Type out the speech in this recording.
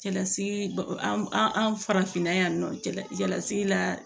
Cɛlasigi baw an farafinna yan nɔ cɛla cɛlasigi la